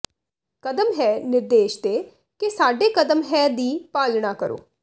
ਕਦਮ ਹੈ ਨਿਰਦੇਸ਼ ਦੇ ਕੇ ਸਾਡੇ ਕਦਮ ਹੈ ਦੀ ਪਾਲਣਾ ਕਰੋ